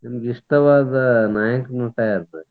ನಿಮ್ಗ್ ಇಷ್ಟವಾದ ನಾಯಕ ನಟ ಯಾರ್ರಿ?